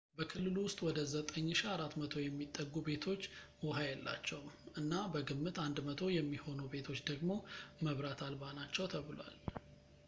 በክልሉ ውስጥ ወደ 9400 የሚጠጉ ቤቶች ውሃ የላቸውም ፣ እና በግምት 100 የሚሆኑ ቤቶች ደግሞ መብራት አልባ ናቸው ተብሏል